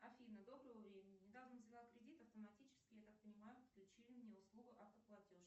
афина доброго времени недавно взяла кредит автоматически я так понимаю подключили мне услугу автоплатеж